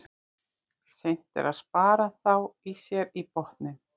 Seint er að spara þá sér í botninn.